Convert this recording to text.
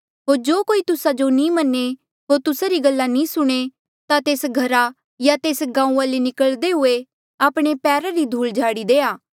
होर जो कोई तुस्सा जो नी मन्ने होर तुस्सा री गल्ला नी सुणें ता तेस घरा या तेस गांऊँआं ले निकल्दे हुए आपणे पैरा री धूल झाड़ी देआ